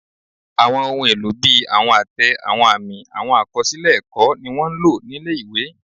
Àwọn ohun èlò bí àwọn àtẹ, àwọn àmì, àwọn àkọsílẹ̀ ẹ̀kọ́, ni wọ́n ń lò nílé ìwé